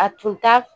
A tun t'a